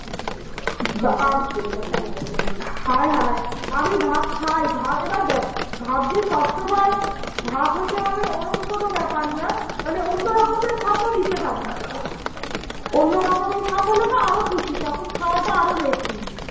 আমি ভাত খাই এবার দেখ ভাত যে সব সময় ভাত হতে হবে এরম তো কিছু না মানে অন্য রকমের ভাত ও দিতে পারিস অন্য রকমের ভাত হলে তো আরো খুশি তখন খাওয়া তা আরো বেশি